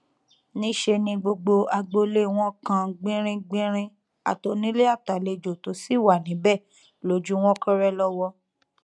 níṣẹ ni gbogbo agboolé wọn kan gbìnríngbinrin àtònílé àtàlejò tó sì wà níbẹ lójú wọn kọrẹ lọwọ